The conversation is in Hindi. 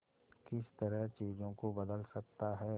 किस तरह चीजों को बदल सकता है